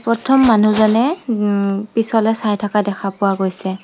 প্ৰথম মানুহজনে পিছলে চাই থকা দেখা পোৱা গৈছে।